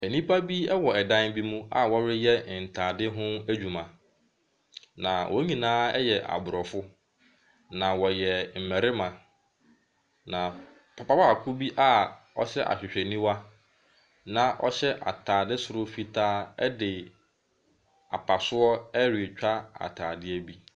Nnipa bi wɔ dan bi mu a wɔreyɛ ntaadeɛ ho adwuma. Na wɔn nyinaa yɛ aborɔfo, na wɔyɛ mmarima. Na papa baako a ɔhyɛ ahwehwɛniwa na ɔhyɛ ataade soro fitaa de apaso ɛretwa ataadeɛ bi.